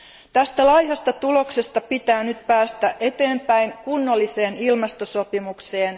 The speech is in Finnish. Tästä laihasta tuloksesta pitää nyt päästä eteenpäin kunnolliseen ilmastosopimukseen.